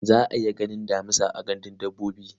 Za a iya ganin damisa a gandun dabbobi.